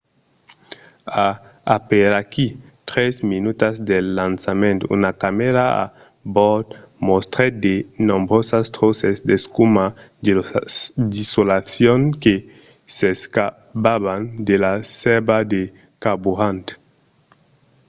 a aperaquí 3 minutas del lançament una camèra a bòrd mostrèt de nombrosas tròces d'escuma d'isolacion que s'escapavan de la sèrva de carburant